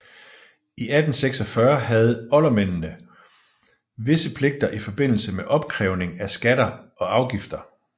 I 1846 havde oldermændene visse pligter i forbindelsen med opkrævning af skatter og afgifter